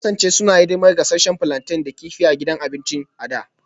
Sun kasance suna hidimar gasasshen plantain da kifi a gidan abinci a da